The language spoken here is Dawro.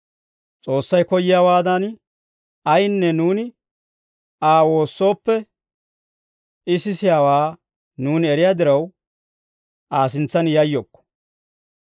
S'oossay koyyiyaawaadan, ayinne nuuni Aa woossooppe, I sisiyaawaa nuuni eriyaa diraw, Aa sintsan yayyokko.